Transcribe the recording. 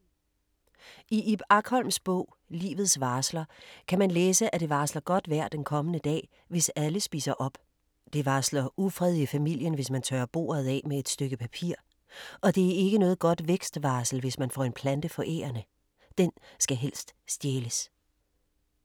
I Ib Akholms bog Livets varsler kan man læse at det varsler godt vejr den kommende dag, hvis alle spiser op. Det varsler ufred i familien, hvis man tørrer bordet af med et stykke papir og det er ikke noget godt vækst-varsel, hvis man får en plante forærende. Den skal helst stjæles.